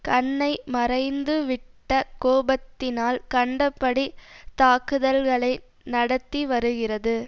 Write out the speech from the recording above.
கண்ணை மறைந்துவிட்ட கோபத்தினால் கண்டபடி தாக்குதல்களை நடத்திவருகிறது